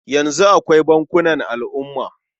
Yanzu akwai bankunan al'umma.